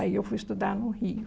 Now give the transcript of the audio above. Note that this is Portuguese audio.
Aí eu fui estudar no Rio.